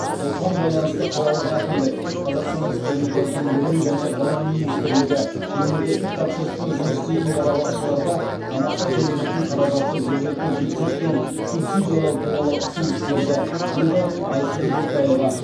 осыған байланысты қалалық әкімдік қазақстан республикасының білім және ғылым министрлігі мемлекеттік тапсырыспен жұмыс істейтін балабақшаларда тамаққа төленетін қаражатты жергілікті бюджеттен субсидиялау туралы ұсыныс берді деді айсұлу ботаева